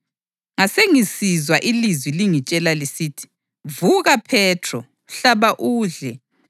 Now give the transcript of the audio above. Ngasengisizwa ilizwi lingitshela lisithi, ‘Vuka Phethro. Hlaba udle.’